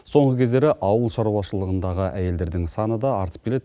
соңғы кездері ауыл шаруашылығындағы әйелдердің саны да артып келеді